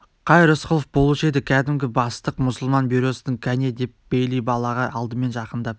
қай рысқұлов болушы еді кәдімгі бастық мұсылман бюросының кәне деп бейли балаға алдымен жақындап